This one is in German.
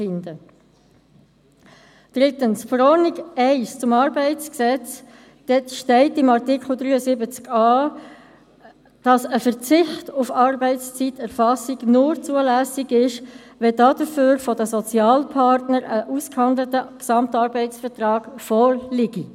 Drittens steht in der Verordnung 1 zum Arbeitsgesetz (ArGV 1) in Artikel 73a, dass ein Verzicht auf Arbeitszeiterfassung nur zulässig ist, wenn dafür ein von den Sozialpartnern ausgehandelter Gesamtarbeitsvertrag vorliegt.